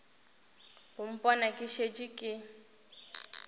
go mpona ke šetše ke